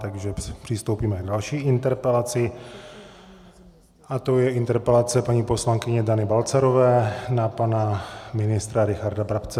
Takže přistoupíme k další interpelaci a tou je interpelace paní poslankyně Dany Balcarové na pana ministra Richarda Brabce.